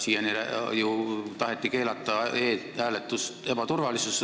Siiani ju taheti keelata e-hääletust ebaturvalisuse tõttu.